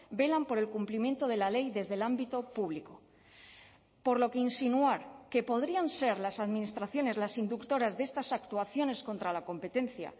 velan por el cumplimiento de la ley desde el ámbito público por lo que insinuar que podrían ser las administraciones las inductoras de estas actuaciones contra la competencia